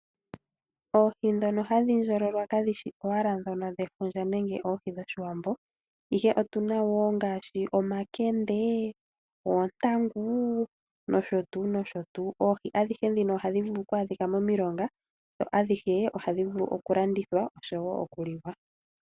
Oohi ndhono hadhi ndjololwa kadhi shi owala dhefundja nenge oohi dhOshiwambo, ihe otu na dhimwe ngaashi omakende, oontangu nosho tuu. Oohi adhihe ndhino ohadhi vulu kwaadhika momilonga nohadhi vulu okulandithwa oshowo okuliwa.